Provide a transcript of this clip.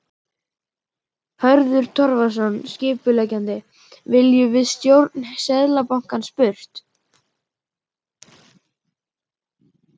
Hörður Torfason, skipuleggjandi: Viljum við stjórn Seðlabankans burt?